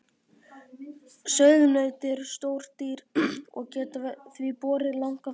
Sauðnaut eru stór dýr og geta því borið langan feld.